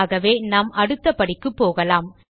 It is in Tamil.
ஆகவே நாம் அடுத்த படிக்கு போகலாம்